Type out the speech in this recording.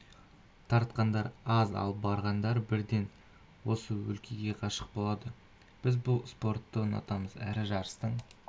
тартқандар аз ал барғандар бірден осы өлкеге ғашық болады біз бұл спортты ұнатамыз әрі жарыстың